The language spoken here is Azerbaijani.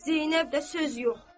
Zeynəb də söz yox.